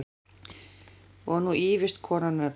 Og nú ýfist konan öll.